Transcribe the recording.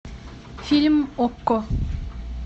фильм окко